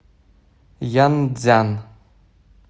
янцзян